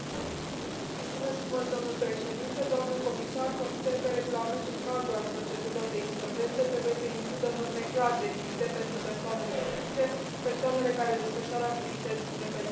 Domnule Președinte, consider că regulamentul cadru al procedurilor de insolvență trebuie să includă norme clar definite pentru persoanele fizice, persoanele care desfășoară activități independente și consumatori.